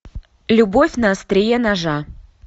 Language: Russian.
любовь на острие ножа